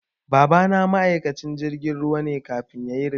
Babana ma'aikacin jirgin ruwa ne kafin yayi ritaya